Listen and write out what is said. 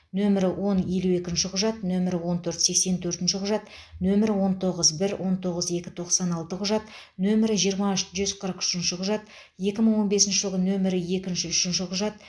нөмірі он елу екінші құжат нөмірі он төрт сексен төртінші құжат нөмірі он тоғыз бір он тоғыз екі тоқсан алты құжат нөмірі жиырма үш жүз қырық үшінші құжат екі мың он бесінші жылғы нөмірі екінші үшінші құжат